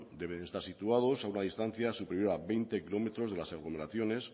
deben estar situados a una distancia superior a veinte kilómetros de las aglomeraciones